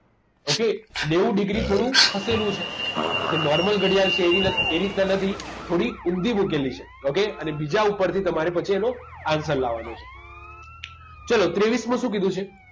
Okay નેવું degree થોડું ખસેડવું છે જો normal ઘડિયાળ છે એ એ રીતના નથી થોડીક ઊંધી મુકેલી છે okay અને બીજા ઉપરથી તમારે પછી એનો answer લાવવાનો છે ચલો ત્રેવીસ મો શું કીધું છે